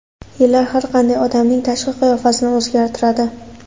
Yillar har qanday odamning tashqi qiyofasini o‘zgartiradi.